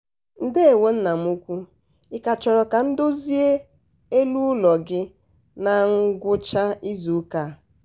um ndewo nna m ukwu ị ka chọrọ ka m dozie elu ụlọ gị na ngwụcha izuụka a?